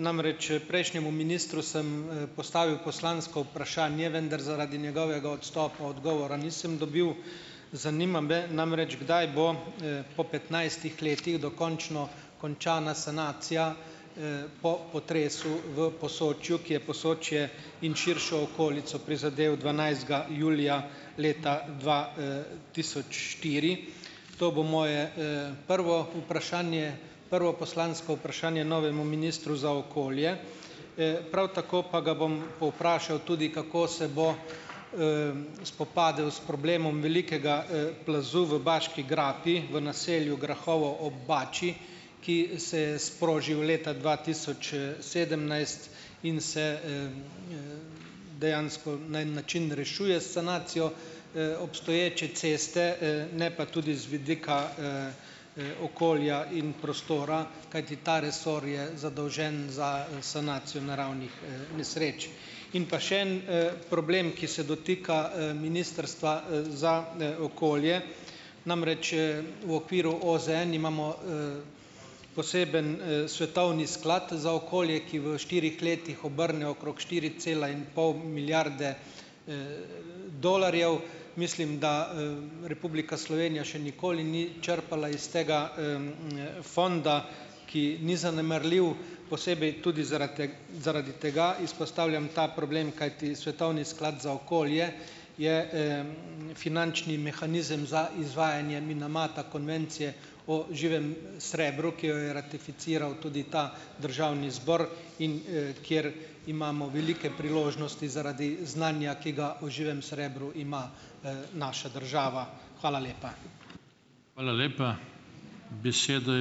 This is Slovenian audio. namreč, prejšnjemu ministru sem, postavil poslansko vprašanje, vendar zaradi njegovega odstopa odgovora nisem dobil. Zanima me namreč, kdaj bo, po petnajstih letih dokončno končana sanacija, po potresu v Posočju, ki je Posočje in širšo okolico prizadel dvanajstega julija leta dva, tisoč štiri. To bo moje, prvo vprašanje, prvo poslansko vprašanje novemu ministru za okolje, prav tako pa ga bom povprašal tudi, kako se bo, spopadel s problemom velikega plazu v Baški grapi, v naselju Grahovo ob Bači, ki se je sprožil leta dva tisoč, sedemnajst in se, dejansko na en način rešuje s sanacijo, obstoječe ceste, ne pa tudi z vidika, okolja in prostora , kajti ta resor je zadolžen za sanacijo naravnih nesreč . In pa še en, problem, ki se dotika, Ministrstva, za, okolje. Namreč, v okviru OZN imamo, poseben, Svetovni sklad za okolje, ki v štirih letih obrne okrog štiri cela in pol milijarde, dolarjev. Mislim, da, Republika Slovenija še nikoli ni črpala iz tega, fonda, ki ni zanemarljiv, posebej tudi zaradi zaradi tega izpostavljam ta problem, kajti Svetovni sklad za okolje je, finančni mehanizem za izvajanje Minamata Konvencije o živem srebru, ki jo je ratificiral tudi ta državni zbor, in, ker imamo velike priložnosti zaradi znanja, ki ga o živem srebru ima, naša država. Hvala lepa. Hvala lepa. Besedo ...